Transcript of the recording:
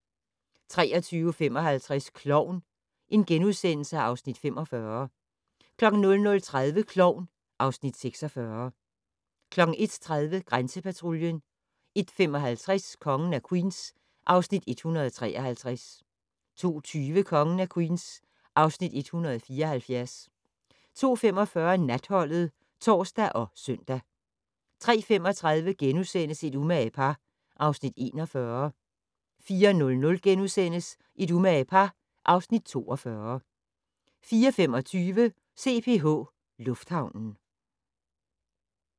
23:55: Klovn (Afs. 45)* 00:30: Klovn (Afs. 46) 01:30: Grænsepatruljen 01:55: Kongen af Queens (Afs. 173) 02:20: Kongen af Queens (Afs. 174) 02:45: Natholdet (tor og søn) 03:35: Et umage par (Afs. 41)* 04:00: Et umage par (Afs. 42)* 04:25: CPH Lufthavnen